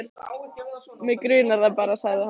Mig grunar það bara, sagði hann.